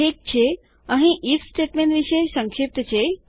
ઠીક છે અહીં ઇફ સ્ટેટમેન્ટ વિશે સંક્ષિપ્ત છે